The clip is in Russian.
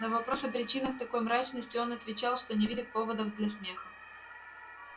на вопрос о причинах такой мрачности он отвечал что не видит поводов для смеха